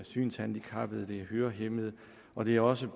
synshandicappede hørehæmmede og det er også